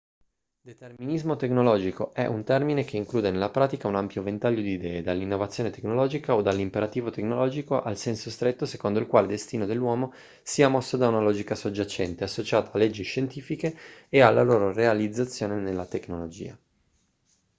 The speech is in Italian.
determinismo tecnologico è un termine che include nella pratica un ampio ventaglio di idee dall'innovazione tecnologica o dall'imperativo tecnologico al senso stretto secondo il quale il destino dell'uomo sia mosso da una logica soggiacente associata a leggi scientifiche e alla loro realizzazione nella tecnologia